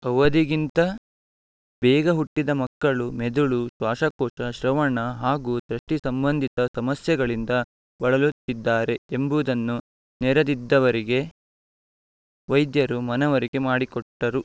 ಅವಧಿಗಿಂತ ಬೇಗ ಹುಟ್ಟಿದ ಮಕ್ಕಳು ಮೆದುಳು ಶ್ವಾಸಕೋಶ ಶ್ರವಣ ಹಾಗೂ ದೃಷ್ಟಿಸಂಬಂಧಿತ ಸಮಸ್ಯೆಗಳಿಂದ ಬಳಲುತ್ತಿದ್ದಾರೆ ಎಂಬುದನ್ನು ನೆರೆದಿದ್ದವರಿಗೆ ವೈದ್ಯರು ಮನವರಿಕೆ ಮಾಡಿಕೊಟ್ಟರು